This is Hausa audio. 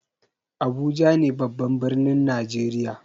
Abuja ne babban birnin najeriya.